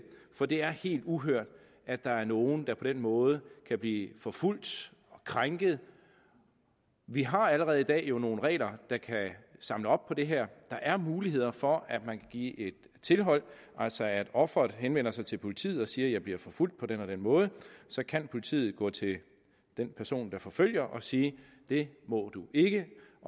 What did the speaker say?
for det er helt uhørt at der er nogle der på den måde kan blive forfulgt og krænket vi har jo allerede i dag nogle regler der kan samle op på det her der er muligheder for at man kan give et tilhold altså at ofret henvender sig til politiet og siger bliver forfulgt på den og den måde så kan politiet gå til den person der forfølger og sige det må du ikke